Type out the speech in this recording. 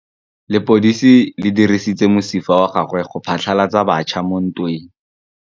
Lepodisa le dirisitse mosifa wa gagwe go phatlalatsa batšha mo ntweng.